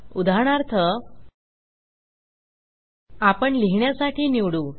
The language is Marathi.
उदाहरणार्थ आपण लिहिण्यासाठी निवडू